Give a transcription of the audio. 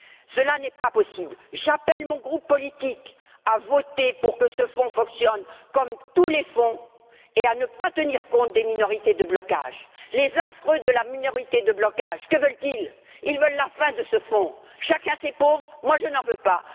Cela n'est pas possible. J'appelle mon groupe politique à voter pour que ce fonds fonctionne comme tous les fonds et à ne pas tenir compte des minorités de blocage. Les affreux de la minorité de blocage, que veulent ils? Ils veulent la fin de ce fonds. À chacun ses pauvres? Moi je n'en veux pas!